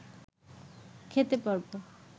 খেতে পারব